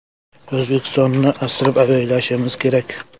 O‘zbekistonni asrab-avaylashimiz kerak.